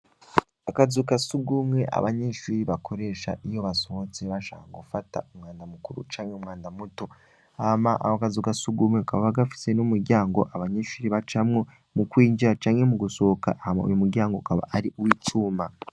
Akazuka sugumwe abanyinshuri bakoresha iyo basohotse bashaka ga ufata umwanda mukuru camke umwanda muto ama aho akazuka sugumwe akaba bagafise n'umuryango abanyinshuri ba camwe mu kwinjira canke mu gusohoka ahama uyu muryango kaba ari uwo icuma.